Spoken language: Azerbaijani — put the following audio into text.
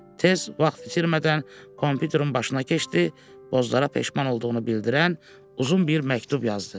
Tez vaxt itirmədən komputerin başına keçdi, Bozlara peşman olduğunu bildirən uzun bir məktub yazdı.